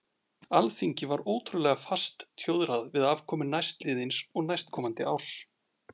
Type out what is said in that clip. Alþingi var ótrúlega fast tjóðrað við afkomu næstliðins og næstkomandi árs.